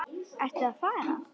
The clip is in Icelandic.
Ertu að fara?